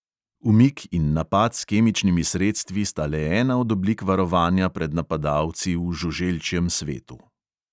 Umik in napad s kemičnimi sredstvi sta le ena od oblik varovanja pred napadalci v žuželčjem svetu.